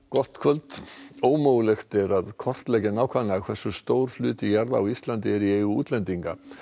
gott kvöld ómögulegt er að kortleggja nákvæmlega hversu stór hluti jarða á Íslandi er í eigu útlendinga